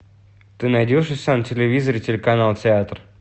ты найдешь у себя на телевизоре телеканал театр